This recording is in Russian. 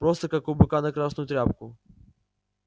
просто как у быка на красную тряпку